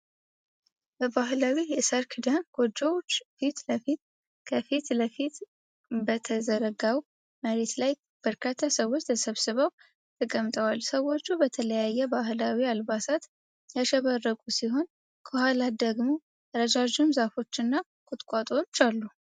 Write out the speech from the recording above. በባህላዊ የሳር ክዳን ጎጆዎች ፊት ለፊት፣ ከፊት ለፊት በተዘረጋው መሬት ላይ በርካታ ሰዎች ተሰብስበው ተቀምጠዋል። ሰዎች በተለያየ ባህላዊ አልባሳት ያሸበረቁ ሲሆን፣ ከኋላ ደግሞ ረዣዥም ዛፎች እና ቁጥቋጦዎች አሉ።